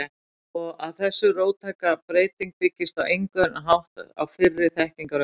Og að þessi róttæka breyting byggist á engan hátt á fyrri þekkingaröflun?